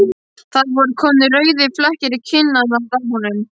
Það voru komnir rauðir flekkir í kinnarnar á honum.